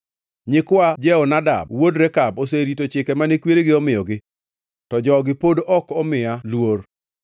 Nyikwa Jehonadab wuod Rekab oserito chike mane kweregi omiyogi, to jogi pod ok omiya luor.’